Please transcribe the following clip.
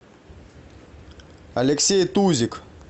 алексей тузик